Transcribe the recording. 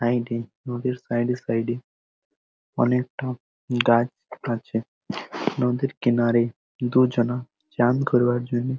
side - এ নদীর side - এ সাইড - এ অনেক ঠ- গাছ আছে নদীর কিনারে দুজনা চান করবার জন্য--